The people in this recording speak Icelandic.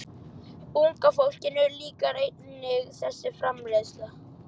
Unga fólkinu líkar einnig þessi framreiðsla.